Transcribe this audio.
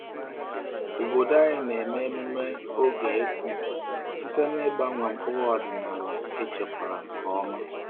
Obodo anyị na-eme emume oge ịkụ site n’ịgbanwe mkpụrụ ọdịnala echekwara nke ọma.